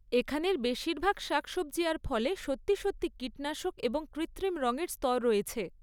এখানের বেশিরভাগ শাকসবজি আর ফলে সত্যি সত্যি কীটনাশক এবং কৃত্রিম রঙের স্তর রয়েছে।